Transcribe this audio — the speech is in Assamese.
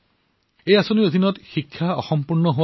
ইয়াত ১৫ৰ পৰা ৩৫ বছৰৰ কিশোৰ আৰু যুৱচামসকল অন্তৰ্ভুক্ত হয়